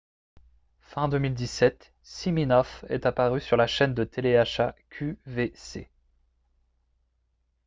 fin 2017 siminoff est apparu sur la chaîne de télé-achat qvc